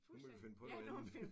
Nu må vi finde på noget andet